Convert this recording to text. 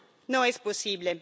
No es posible.